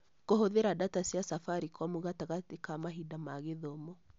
Kũhũthĩra data cia Safaricom gatagatĩ ka mahinda ma gĩthomo